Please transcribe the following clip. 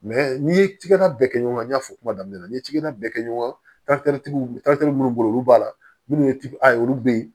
n'i ye tigala bɛɛ kɛ ɲɔgɔn y'a fɔ kuma daminɛ na n ye jiginɛ bɛɛ kɛ ɲɔgɔn kan minnu bɛ olu b'a la minnu ye tip a ye olu be ye